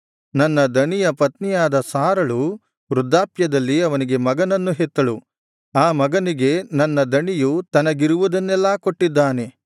ನನ್ನ ದಣಿಯ ಪತ್ನಿಯಾದ ಸಾರಳು ವೃದ್ಧಾಪ್ಯದಲ್ಲಿ ಅವನಿಗೆ ಮಗನನ್ನು ಹೆತ್ತಳು ಆ ಮಗನಿಗೆ ನನ್ನ ದಣಿಯು ತನಗಿರುವುದನ್ನೆಲ್ಲಾ ಕೊಟ್ಟಿದ್ದಾನೆ